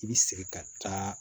I bi sigi ka taa